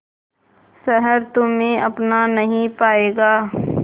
शहर तुम्हे अपना नहीं पाएगा